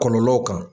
Kɔlɔlɔw kan